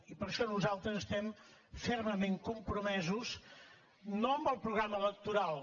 i per això nosaltres estem fermament compromesos no amb el programa electoral